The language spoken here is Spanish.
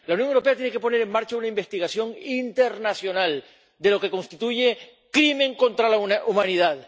La Unión Europea tiene que poner en marcha una investigación internacional de lo que constituye un crimen contra la humanidad.